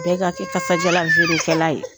Bɛɛ ka kɛ kasadiyalan feerekɛla ye.